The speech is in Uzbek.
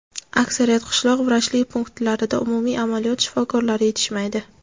Aksariyat qishloq vrachlik punktlarida umumiy amaliyot shifokorlari yetishmaydi.